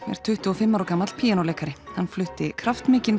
er tuttugu og fimm ára gamall píanóleikari hann flutti